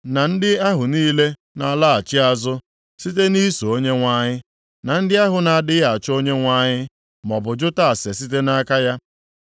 na ndị ahụ niile na-alaghachi azụ site nʼiso Onyenwe anyị, na ndị ahụ na-adịghị achọ Onyenwe anyị, maọbụ jụta ase site nʼaka ya.”